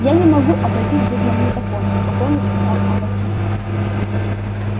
я не могу обойтись без магнитофона спокойно сказал аваким